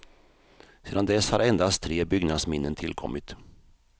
Sedan dess har endast tre byggnadsminnen tillkommit.